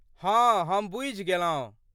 हँ, हम बुझि गेलहुँ।